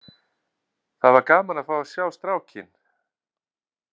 Það var gaman að fá að sjá strákinn!